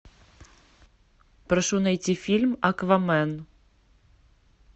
прошу найти фильм аквамен